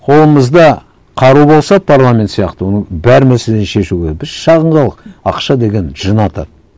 қолымызда қару болса парламент сияқты оның бәр мәселені шешуге біз шағын халық ақша деген жын атады